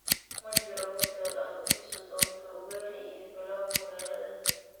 ma jiro hotel aad u xiisi doonto ugali iyo pilau magaaladan